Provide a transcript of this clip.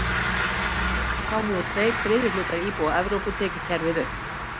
Þá höfðu tveir þriðju hlutar íbúa Evrópu tekið kerfið upp.